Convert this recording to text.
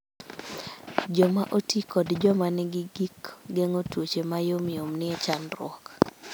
Joma oti kod joma nigi gik geng'o tuoche ma yom yom nie chandruok